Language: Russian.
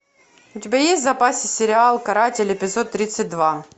у тебя есть в запасе сериал каратель эпизод тридцать два